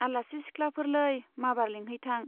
आलासि सिख्लाफोरलै , माबार लिंहैथां।